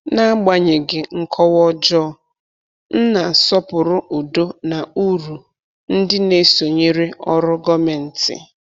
N’agbanyeghị nkọwa ọjọọ, m na-asọpụrụ udo na uru ndị na-esonyere ọrụ gọmenti.